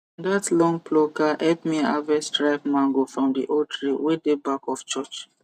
that long plucker help me harvest ripe mango from the old tree wey dey back of church